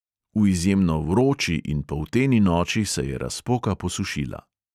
V izjemno vroči in polteni noči se je razpoka posušila.